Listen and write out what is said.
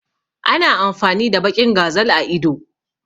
Ana amfani da baƙin gazal a ido